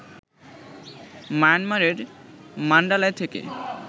মায়ানমারের মান্ডালায় থেকে